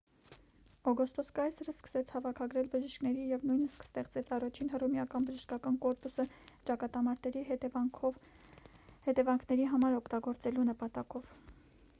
օգոստոս կայսրը սկսեց հավաքագրել բժիշկների և նույնիսկ ստեղծեց առաջին հռոմեական բժշկական կորպուսը ճակատամարտերի հետևանքների համար օգտագործելու նպատակով